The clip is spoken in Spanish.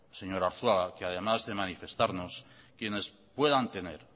señor arzuaga que además de manifestarnos quienes puedan tener